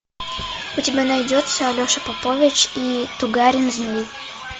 у тебя найдется алеша попович и тугарин змей